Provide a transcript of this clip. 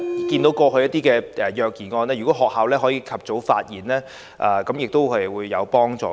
對於過去的一些虐兒案，如果學校及早發現亦會有幫助。